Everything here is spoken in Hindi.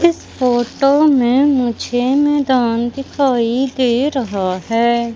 इस फोटो में मुझे मैदान दिखाई दे रहा है।